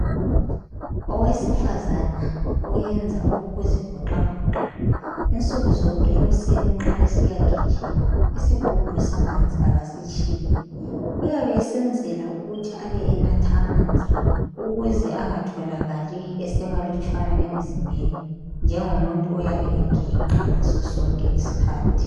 Owesifazane owenza okokuzivoxavoxa, insukuzonke ekuseni nxa esiyagijima isigubhu samanzi akasitshiyi. Uyabe esenzela ukuthi abe enatha amanzi ukuze engatholakali esemalutshwana emzimbeni njengomuntu oyabe eginqa ngasosonke isikhathi.